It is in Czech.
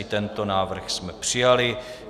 I tento návrh jsme přijali.